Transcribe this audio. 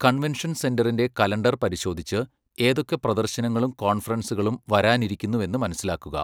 Convention സെൻറ്ററിൻ്റെ calendar പരിശോധിച്ച് ഏതൊക്കെ പ്രദർശനങ്ങളും കോൺഫറൻസുകളും വരാനിരിക്കുന്നുവെന്ന് മനസിലാക്കുക.